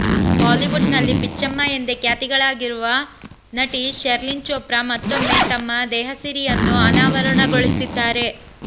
Bollywood ನಲ್ಲಿ ಬಿಚ್ಚಮ್ಮ ಎಂದೇ ಖ್ಯಾತಳಾಗಿರುವ ನಟಿ ಶೆರ್ಲಿನ್ ಚೋಪ್ರಾ ಮತ್ತೊಮ್ಮೆ ತಮ್ಮ ದೇಹಸಿರಿಯನ್ನು ಅನಾವರಣಗೊಳಿಸಿದ್ದಾರೆ